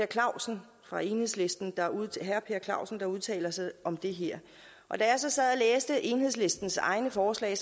clausen fra enhedslisten der udtaler sig om det her og da jeg så sad og læste enhedslistens egne forslag